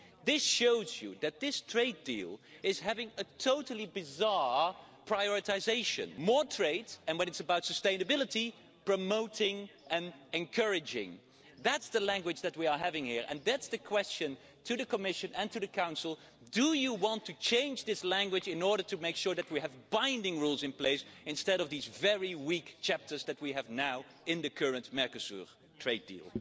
This shows you that this trade deal has totally bizarre priorities more trade and when it's about sustainability, promoting and encouraging. That's the language that we are having here and that's the question to the Commission and to the Council do you want to change this language in order to make sure that we have binding rules in place instead of these very weak chapters that we have now in the current Mercosur trade deal?